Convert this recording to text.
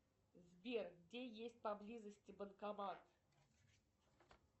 сбер где есть поблизости банкомат